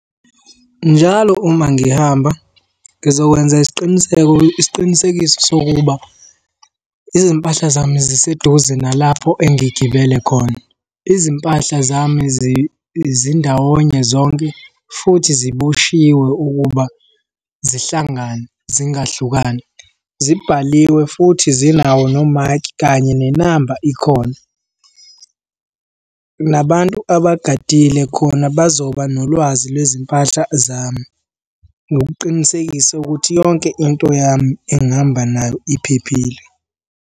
Njalo uma ngihamba ngizokwenza isiqiniseko, isiqinisekiso sokuba izimpahla zami ziseduze nalapho engigibele khona. Izimpahla zami zindawonye zonke, futhi ziboshiwe ukuba zihlangane zingahlukani. Zibhaliwe futhi zinawo no-mark kanye nenamba ikhona. Nabantu abagadile khona bazoba nolwazi lwezimpahla zami. Nokuqinisekisa ukuthi yonke into yami engihamba nayo iphephile.